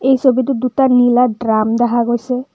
এই ছবিটোত দুটা নীলা ড্ৰাম দেখা গৈছে।